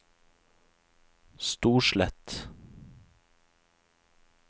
Storslett